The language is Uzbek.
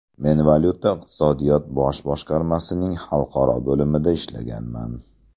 Men valyuta-iqtisodiyot bosh boshqarmasining xalqaro bo‘limida ishlaganman.